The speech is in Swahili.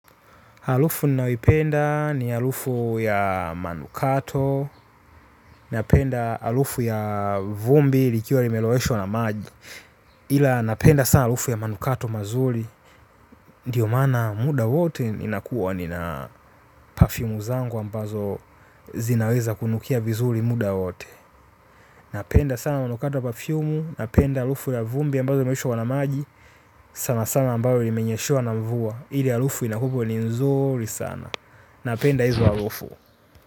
Halufu ninayoipenda ni halufu ya manukato, napenda halufu ya vumbi likiwa limelowesho wanamaji. Hila napenda sana halufu ya manukato mazuri, diyo mana muda wote inakuwa nina pafyumu zangu ambazo zinaweza kunukia vizuri muda wote. Napenda sana manukato ya pafyumu, napenda halufu ya vumbi ambalo limelowesho wanamaji, sana sana ambayo imenyeshe wanamvua, hili halufu inakuwa ni nzuri sana. Napenda izo harufu.